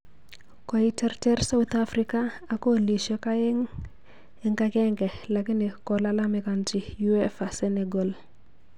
Koiterterir sauthafrika ak kolisyek aeng eng agenge lakini kolalamikanchi uefa Senegal